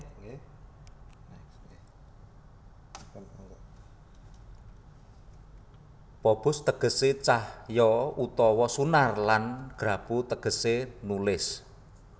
Phobos tegese cahya utawa sunar lan graphoo tegese nulis